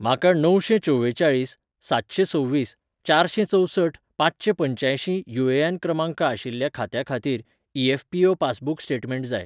म्हाका णवशेंचवेचाळीस सातशेंसव्वीस चारशेंचवसठ पांचशेंपंच्यायशीं यु.ए.एन. क्रमांक आशिल्ल्या खात्या खातीर ई.एफ.पी.ओ. पासबुक स्टेटमेंट जाय